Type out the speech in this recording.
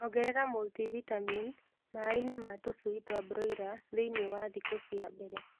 Ongerera mũltivitamin maĩĩnĩ ma tũshui twa broila thĩinĩ wa thikũ cia mbele